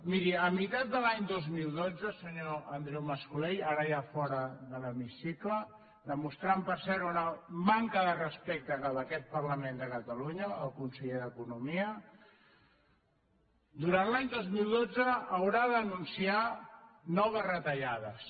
miri a mitat de l’any dos mil dotze senyor andreu mas colell ara ja fora de l’hemicicle demostrant per cert una manca de respecte cap a aquest parlament de catalunya el conseller d’economia durant l’any dos mil dotze haurà d’anunciar noves retallades